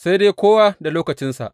Sai dai kowa da lokacinsa.